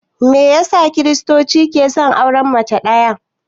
Meyasa kiristoci ke son auren mace ɗaya?